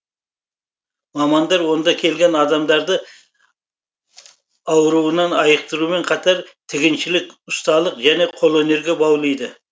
мамандар онда келген адамдарды ауруынан айықтырумен қатар тігіншілік ұсталық және қолөнерге баулиды